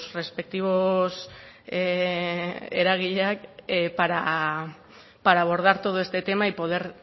respectivos eragileak para abordar todo este tema y poder